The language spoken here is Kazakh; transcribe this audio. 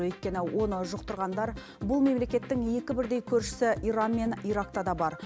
өйткені оны жұқтырғандар бұл мемлекеттің екі бірдей көршісі иран мен иракта да бар